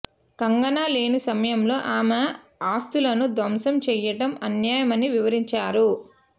కంగన లేని సమయంలో ఆమె ఆస్తులను ధ్వంసం చేయటం అన్యాయమని వివరించారు